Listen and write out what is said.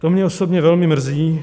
To mě osobně velmi mrzí.